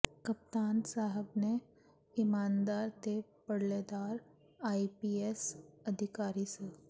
ਕਪਤਾਨ ਸਹਿਬ ਨੇ ਇਮਾਨਦਾਰ ਤੇ ਧੜੱਲੇਦਾਰ ਆਈ ਪੀ ਐਸ ਅਧਿਕਾਰੀ ਸ